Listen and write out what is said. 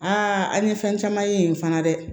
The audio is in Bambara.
Aa an ye fɛn caman ye yen fana dɛ